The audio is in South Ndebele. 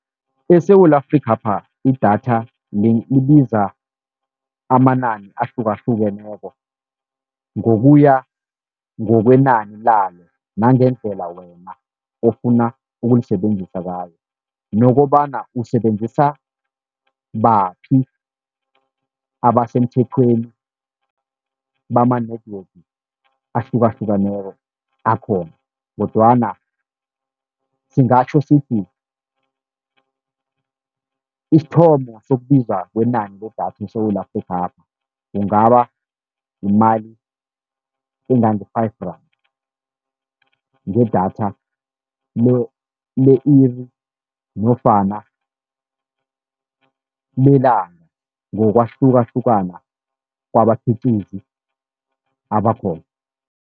ESewula Afrikhapha idatha libiza amanani ahlukahlukeneko, ngokuya ngokwenani lalo nangendlela wena ofuna ukulisebenzisa ngayo, nokobana usebenzisa baphi abasemthethweni bama-network ahlukahlukaneko akhona. Kodwana singatjho sithi isithomo sokubiza kwenani ledatha eSewula Afrikhapha, kungaba yimali engange-five rand ngedatha le-iri nofana lelanga, ngokwahlukahlukana kwabakhiqizi abakhona.